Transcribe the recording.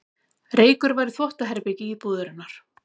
Reykur var í þvottaherbergi íbúðarinnar